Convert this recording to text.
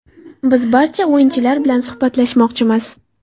Biz barcha o‘yinchilar bilan suhbatlashmoqchimiz.